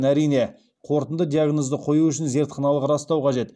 әрине қорытынды диагнозды қою үшін зертханалық растау қажет